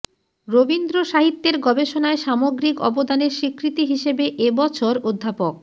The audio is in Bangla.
রবীন্দ্রসাহিত্যের গবেষণায় সামগ্রিক অবদানের স্বীকৃতি হিসেবে এ বছর অধ্যাপক